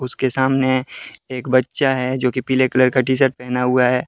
उसके सामने एक बच्चा है जोकि पीले कलर का टी शर्ट पहना हुआ है।